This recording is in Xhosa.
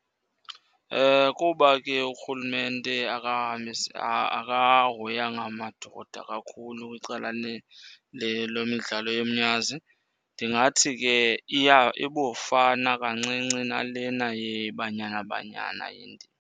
Kuba ke urhulumente akahoyanga madoda kakhulu kwicala lomidlalo yomnyazi, ndingathi ke ibufana kancinci nalena yeBanyana Banyana indima.